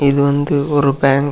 இது வந்து ஒரு பேங்க் .